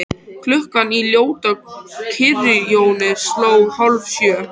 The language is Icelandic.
Klukkan í ljótu kirkjunni sló hálfsjö.